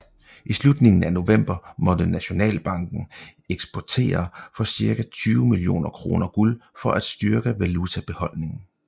I slutningen af november måtte Nationalbanken eksportere for cirka 20 millioner kroner guld for at styrke valutabeholdningen